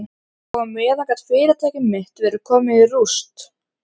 Og á meðan gat fyrirtæki mitt verið komið í rúst.